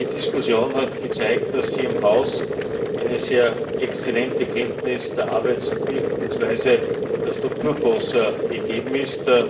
Die Diskussion hat gezeigt, dass hier im Haus eine sehr exzellente Kenntnis der Arbeits und Wirkungsweise der Strukturfonds gegeben ist.